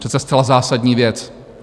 Přece zcela zásadní věc!